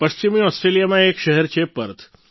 પશ્ચિમી ઓસ્ટ્રેલિયામાં એક શહેર છે પર્થ